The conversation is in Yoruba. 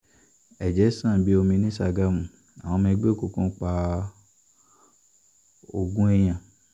ẹ̀jẹ̀ sàn bíi omi ní sàgámù àwọn ọmọ ẹgbẹ́ òkùnkùn pa ogún èèyàn